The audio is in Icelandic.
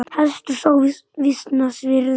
Hestur sá var vísna virði.